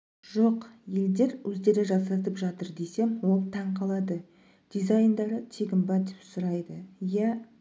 жоқ елдер өздері жасатып жатыр десем ол таң қалады дизайндары тегін ба деп сұрайды иә